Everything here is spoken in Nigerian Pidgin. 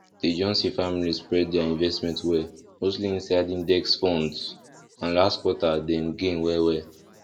di johnson family spread their investment well mostly inside index funds and last quarter dem gain well well